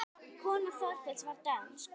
Kona Þorkels var dönsk.